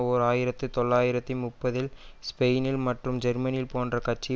ஓர் ஆயிரத்தி தொள்ளாயிரத்தி முப்பதில் ஸ்பெயினில் மற்றும் ஜெர்மனியில் போன்ற கட்சி